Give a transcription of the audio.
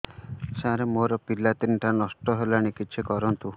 ସାର ମୋର ପିଲା ତିନିଟା ନଷ୍ଟ ହେଲାଣି କିଛି କରନ୍ତୁ